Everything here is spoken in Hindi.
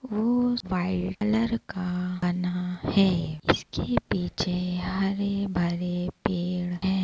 वो उस का बना है इसके पीछे हरे-भरे पेड़ हैं।